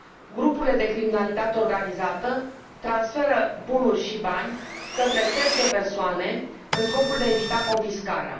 Grupurile de criminalitate organizată transferă bunuri și bani către terțe persoane în scopul de a evita confiscarea.